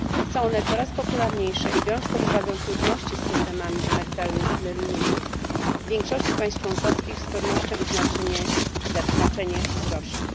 Są one coraz popularniejsze i biorąc pod uwagę trudności z systemami emerytalnymi w większości państw członkowskich, z pewnością ich znaczenie wzrośnie.